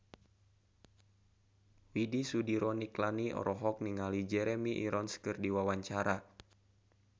Widy Soediro Nichlany olohok ningali Jeremy Irons keur diwawancara